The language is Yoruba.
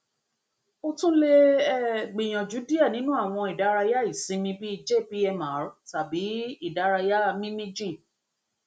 o tun le um gbiyanju diẹ ninu awọn idaraya isinmi bi jpmr tabi idaraya mimi jin